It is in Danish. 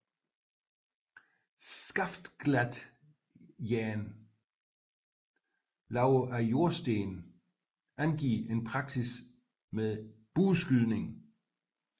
Skaftglattejern lavet af jordsten angiver en praksis med bueskydning